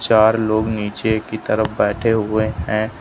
चार लोग नीचे कि तरफ बैठे हुए हैं।